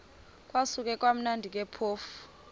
kwakusekumnandi ke phofu